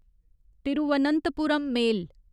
Thiruvananthapuram मेल